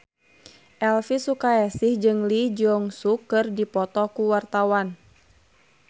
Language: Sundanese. Elvy Sukaesih jeung Lee Jeong Suk keur dipoto ku wartawan